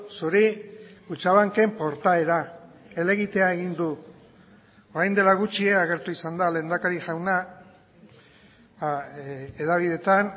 zuri kutxabanken portaera helegitea egin du orain dela gutxi agertu izan da lehendakari jauna hedabideetan